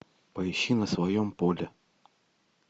поищи на своем поле